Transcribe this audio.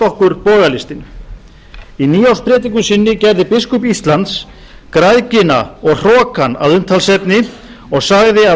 okkur bogalistin í nýárspredikun sinni gerði biskup íslands græðgina og hrokann að umtalsefni og sagði að